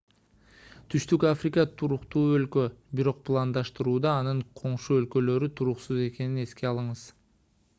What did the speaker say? түштүк африка туруктуу өлкө бирок пландаштырууда анын коңшу өлкөлөрү туруксуз экенин эске алыңыз